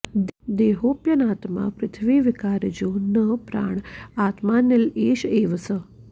देहोऽप्यनात्मा पृथिवीविकारजो न प्राण आत्माऽनिल एष एव सः